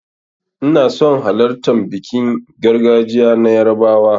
Ina son halartan bikin gargajiya na yarbawa.